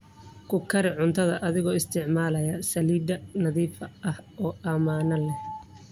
Ku kari cunto adigoo isticmaalaya saliid nadiif ah oo ammaan ah.